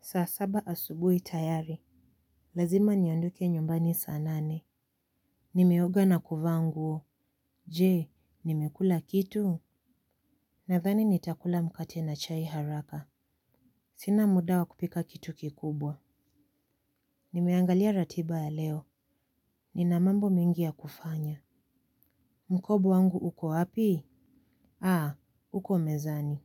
Saa saba asubuhi tayari. Lazima niondoke nyumbani saa nane. Nimeoga na kuvaa nguo. Je, nimekula kitu? Nadhani nitakula mkate na chai haraka. Sina mudawa kupika kitu kikubwa. Nimeangalia ratiba ya leo. Nina mambo mengi ya kufanya. Mkoba wangu uko api? Aa, uko mezani.